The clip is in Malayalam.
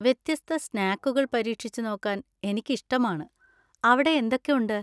വ്യത്യസ്ത സ്നാക്കുകൾ പരീക്ഷിച്ചുനോക്കാൻ എനിക്ക് ഇഷ്ടമാണ്, അവിടെ എന്തൊക്കെ ഉണ്ട്?